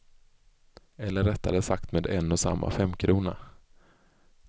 Eller rättare sagt med en och samma femkrona.